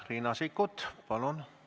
Riina Sikkut, palun!